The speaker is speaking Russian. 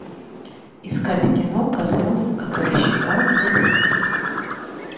искать кино козленок который считал до десяти